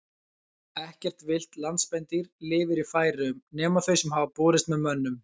Ekkert villt landspendýr lifir í Færeyjum nema þau sem hafa borist með mönnum.